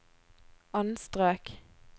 anstrøk